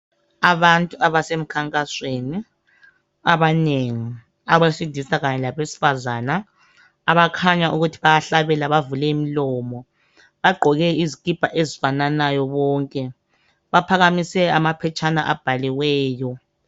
Abantu abasemkhankasweni abanengi abesilisa kanye labesifazana abakhanya ukuthi bayahlabela bavule imilomo. Bagqoke izikipa ezifananayo bonke. Baphakamise amaphetshana abhaliweyo.